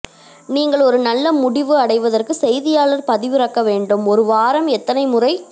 நீங்கள் ஒரு நல்ல முடிவு அடைவதற்கு செய்தியாளர் பதிவிறக்க வேண்டும் ஒரு வாரம் எத்தனை முறை